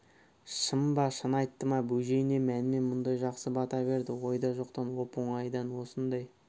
шын ба шын айтты ма бөжей не мәнмен мұндай жақсы бата берді ойда жоқтан оп-оңайдан осындай